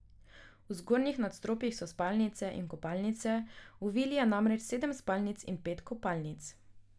V zgornjih nadstropjih so spalnice in kopalnice, v vili je namreč sedem spalnic in pet kopalnic.